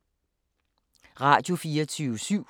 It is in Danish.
Radio24syv